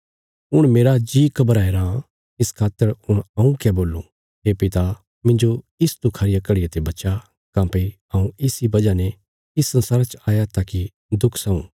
हुण मेरा जी घबराया राँ इस खातर हुण हऊँ क्या बोलूं हे पिता मिन्जो इस दुखा रिया घड़िया ते बचा काँह्भई हऊँ इस इ वजह ते इस संसारा च आया ताकि दुख सहूँ